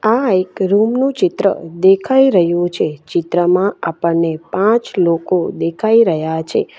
આ એક રૂમ નું ચિત્ર દેખાઈ રહ્યું છે ચિત્રમાં આપણને પાંચ લોકો દેખાઈ રહ્યા છે.